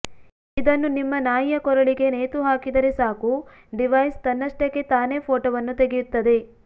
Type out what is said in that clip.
ಇದನ್ನು ನಿಮ್ಮ ನಾಯಿಯ ಕೊರಳಿಗೆ ನೇತು ಹಾಕಿದರೆ ಸಾಕು ಡಿವೈಸ್ ತನ್ನಷ್ಟಕ್ಕೆ ತಾನೇ ಫೋಟೋವನ್ನು ತೆಗೆಯುತ್ತದೆ